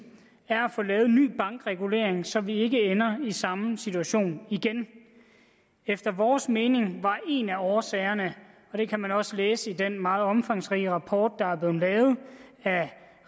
er at få lavet en ny bankregulering så vi ikke ender i samme situation igen efter vores mening var en af årsagerne det kan man også læse i den meget omfangsrige rapport der er blevet lavet af